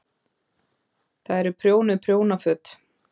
Það eru prjónuð prjónaföt.